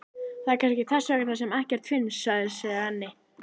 Það er kannski þess vegna sem ekkert finnst, sagði Svenni.